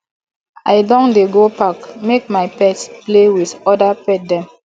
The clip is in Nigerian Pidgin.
i don dey go park make my pet play wit oda pet dem